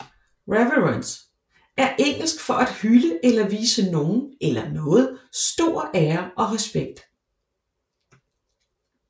Reverence er engelsk for at hylde eller vise nogen eller noget stor ære og respekt